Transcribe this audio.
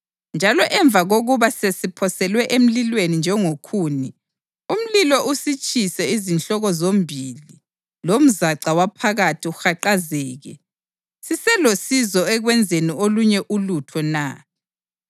Njalo emva kokuba sesiphoselwe emlilweni njengokhuni, umlilo usitshise izihloko zombili lomzaca waphakathi uhaqazeke, siselosizo ekwenzeni olunye ulutho na?